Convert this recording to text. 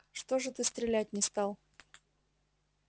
что же ты стрелять не стал